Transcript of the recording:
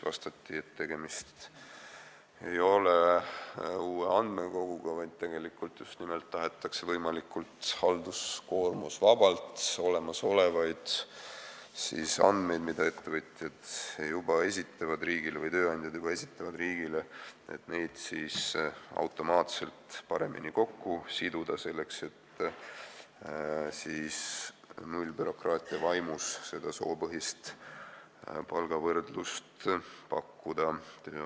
Vastati, et tegemist ei ole uue andmekoguga, vaid tahetakse just nimelt võimalikult halduskoormusvabalt olemasolevaid andmeid, mida ettevõtjad või tööandjad juba riigile esitavad, automaatselt paremini kokku siduda, selleks et nullbürokraatia vaimus tööandjatele soopõhist palgavõrdlust pakkuda.